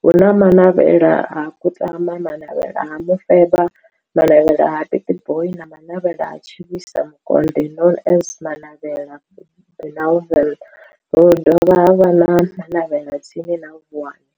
hu na Manavhela ha Kutama, Manavhela ha Mufeba, Manavhela ha Pietboi na Manavhela ha Tshiwisa Mukonde known as Manavhela Benlavin, ha dovha havha na Manavhela tsini na Vuwani.